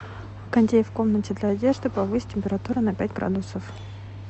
кондей в комнате для одежды повысь температуру на пять градусов